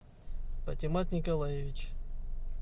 патимат николаевич